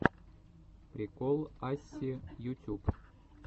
прикол асси ютюб